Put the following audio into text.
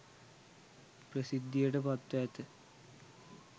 ප්‍රසිද්ධියට පත්ව ඇත.